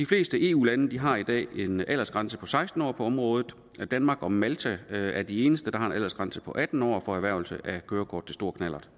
fleste eu lande har i dag en aldersgrænse på seksten år på området danmark og malta er de eneste der har en aldersgrænse på atten for erhvervelse af kørekort til stor knallert